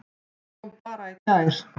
Það kom bara í gær!